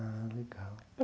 Ah, legal.